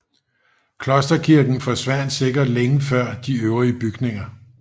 Klosterkirken forsvandt sikkert længe før de øvrige bygninger